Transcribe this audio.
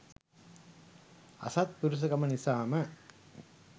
අසත්පුරුෂකම නිසාම